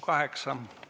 Kaheksa minutit.